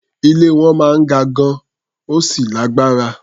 Ilé wọn máa ń ga gan-an, ó sì lágbára.